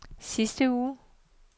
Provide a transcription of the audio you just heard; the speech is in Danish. sidste uge